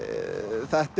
þetta